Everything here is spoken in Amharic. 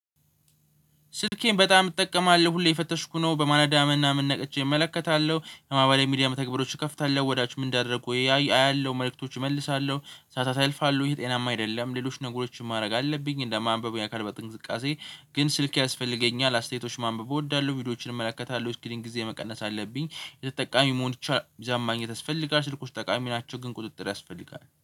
ስልኬን በጣም እጠቀማለሁ ሁሌ እየፈተሽኩ ነው ምናምን ምን ነቅቼ እመለከታለሁ የማህበራዊ ሚዲያ መተግበሪያዎችን እከፍታለሁ ወዳጆቼ ምን እንዳደረጉ አያለሁ መልእክቶች እመልሳለሁ ሰዓታት ያልፋሉ ይሄ ጤናማ አይደለም። ሌሎች ነገሮችን ማድረግ አለብኝ እንደ ማንበብ የአካል ብቃት እንቅስቃሴ። ግን ስልኬ ያስፈልገኛል አስተያየቶችን ማንበብ እወዳለሁ ቪዲዮዎችን እመለከታለሁ የእስክሪን ጊዜ መቀነስ አለብኝ። የተጠቃሚ መሆን ይቻላል እዛ ማግኘት ያስፈልጋል። ስልኮች ጠቃሚ ናቸው ግን ቁጥጥር ያስፈልጋል